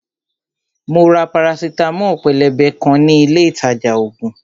Mo ra parasitamo pélébé kan ní ilé ìtajà ògùn